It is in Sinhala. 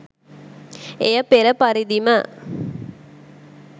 එය පෙර පරිදිම